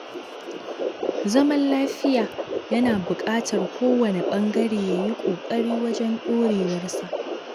Zaman lafiya yana buƙatar kowane ɓangare ya yi ƙoƙari wajen ɗorewarsa